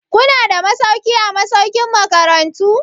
Kuna da masauki a masaukin makarantu?